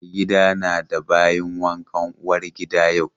Maigadi na da bayin wankan uwar gida yau.